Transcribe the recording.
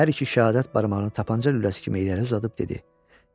Hər iki şəhadət barmağını tapança lüləsi kimi irəli uzadıb dedi: